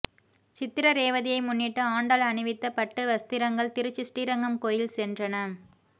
சித்திர ரேவதியை முன்னிட்டு ஆண்டாள் அணிவித்த பட்டு வஸ்திரங்கள் திருச்சி ஸ்ரீரங்கம் கோயில் சென்றன